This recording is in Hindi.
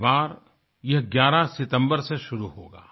इस बार ये 11 सितम्बर से शुरू होगा